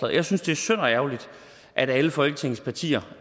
jeg synes det er synd og ærgerligt at alle folketingets partier